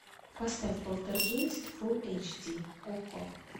поставь полтергейст фулл эйч ди окко